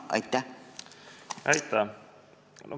Aitäh!